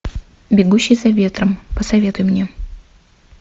бегущий за ветром посоветуй мне